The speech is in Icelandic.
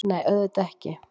Nei, auðvitað ekki!